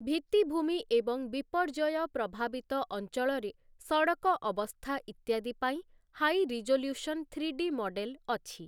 ଭିତ୍ତିଭୂମି ଏବଂ ବିପର୍ଯ୍ୟୟ ପ୍ରଭାବିତ ଅଞ୍ଚଳରେ ସଡକ ଅବସ୍ଥା ଇତ୍ୟାଦି ପାଇଁ ହାଇ ରିଜୋଲ୍ୟୁସନ ଥ୍ରୀଡି ମଡେଲ ଅଛି ।